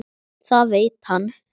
Það veit hann.